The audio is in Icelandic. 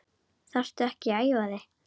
Þarftu ekki að æfa þig mikið?